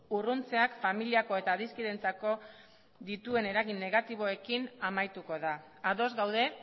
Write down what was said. urruntzeak familiako eta adiskideentzako dituen eragin negatiboekin amaituko da ados gaude